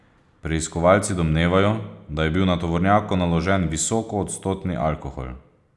Preiskovalci domnevajo, da je bil na tovornjaku naložen visokoodstotni alkohol.